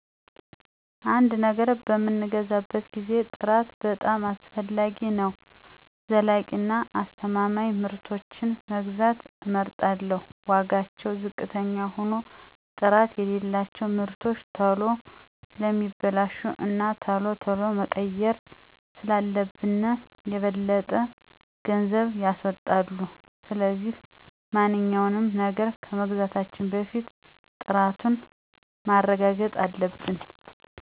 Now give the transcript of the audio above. አንድ ነገር በምንገዛበት ጊዜ ጥራት በጣም አስፈላጊው ነገር ነው። ዘላቂ እና አስተማማኝ ምርቶችን መግዛት እመርጣለሁ። ዋጋውቸው ዝቅተኛ ሆኖ ጥራት የሌላቸው ምርቶች ቶሎ ስለሚበላሹ እና ቶሎ ቶሎ መቀየር ስላለብን የበለጠ ገንዘብ ያስወጣሉ። ስለዚህ ማንኛውንም ነገር ከመግዛታችን በፊት ጥራቱን ማረጋጥ አለብን።